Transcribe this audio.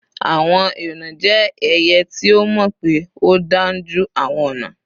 Àwọn èúnà jẹ́ ẹyẹ ti a mọ́ pé ó dáúnjú awọn ọ̀nà.